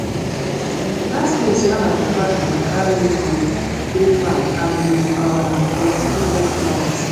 dat place where my papa um carry me go dey fine and you um go see different flowers